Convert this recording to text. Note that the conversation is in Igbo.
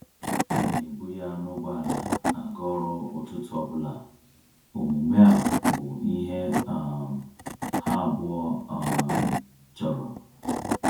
Ọ na ebu ya na ụgbọala aga ọrụ ụtụtụ ọbụla, omume a bụ ihe um ha abụọ um chọrọ.